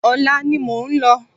Ọ̀la ni mo ń lọ